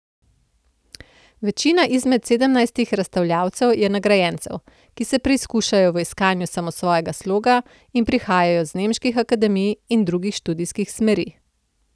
Večina izmed sedemnajstih razstavljavcev je nagrajencev, ki se preizkušajo v iskanju samosvojega sloga in prihajajo z nemških akademij in drugih študijskih smeri.